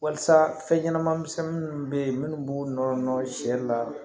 Walisa fɛn ɲɛnaman misɛnnin minnu bɛ yen minnu b'u nɔrɔ sɛ la